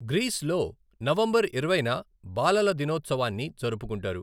గ్రీస్లో November ఇరవైన బాలల దినోత్సవాన్ని జరుపుకుంటారు.